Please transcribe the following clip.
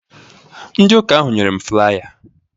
Ndi ụka ahụ nyere m flaya